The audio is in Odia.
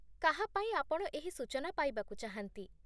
କାହା ପାଇଁ ଆପଣ ଏହି ସୂଚନା ପାଇବାକୁ ଚାହାନ୍ତି?